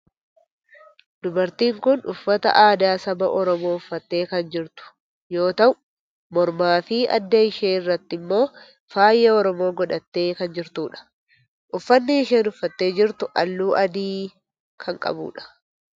Dubartiin tun uffata aadaa saba oromoo uffattee kan jirtu yoo ta'u mormaa fi adda ishee irratti immoo faaya oromoo godhattee kan jirtudha. Uffanni isheen uffattee jirtu halluu adii kan qabudha.